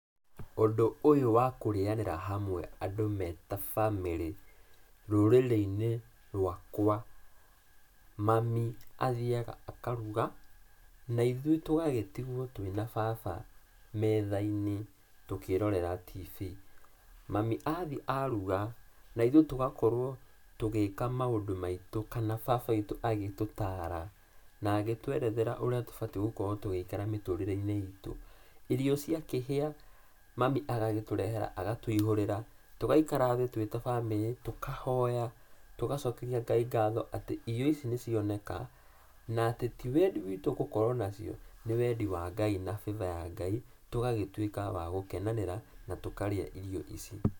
Ũndũ ũyũ wa andũ kũrĩanĩra hamwe andũ me ta bamĩrĩ, rũrĩrĩ-inĩ, rũakũa, mami athiaga akaruga, naithuĩ tũgagĩtigũo twĩ na baba metha-inĩ, tũkĩrorera TV. Mami athiĩ aruga, naithuĩ tũgagĩkorũo tũgĩka maũndũ maitũ kana baba witũ agĩtũtaara, na agĩtũerethera ũrĩa tũbatie gũkorũo tũgĩikara mĩtũrĩre-inĩ itũ. Irio ciakĩhĩa, mami agagĩtũrehera na agatũihũrĩra, tũgaikara thĩ twĩ ta famĩrĩ, tũkahoya, tũgacokeria Ngai ngatho, atĩ irio ici nĩcioneka, na atĩ ti wendi witũ gũkorũo nacio, nĩ wendi wa Ngai na favor ya Ngai, tũgagĩtuĩka wa gũkenanĩra na tũkarĩa irio ici.